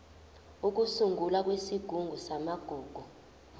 ukusungulwa kwesigungu samagugu